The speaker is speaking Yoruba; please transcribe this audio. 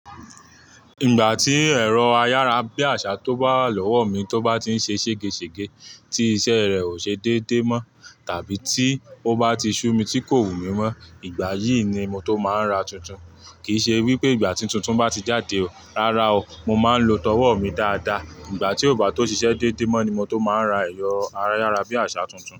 Ìgbà tí ẹ̀rọ ayárabíàṣá tó bá wà lọ́wọ́ mi tó bá ti ń ṣe ṣègeṣège, tí iṣẹ́ rẹ̀ ò ṣe déédé mọ́ tàbí tí ó bá ti ṣú mi tí kò wù mí mọ́, ìgbà yìí ni mo tó máa ń ra tuntun. Kì í ṣe wípé ìgbà tí tuntun bá ti jáde, rárá o. Mo máa ń lo tọwọ́ mi dáadáa. Ìgbà tí ó bá tó ṣiṣẹ́ déédé mọ́ ni mo tó máa ń ra ẹ̀rọ ayárabíàṣá tuntun.